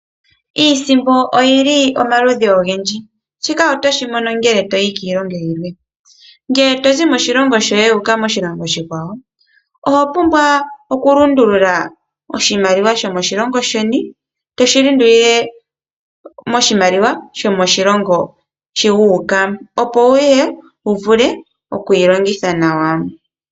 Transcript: Iisimpo oyili omaludhi ogendji, shika oto shimono ngele toyi kiilongo yimwe ngele tozi moshilongo shoye wuka .oshilongo oshikwawo oho pumbwa okulundulula oshimaliwa sho moshilongo sheni toshi lundulile moshimaliwa moshilongo shii wuuka, opo wuye wu vule okuyi longitha nawa.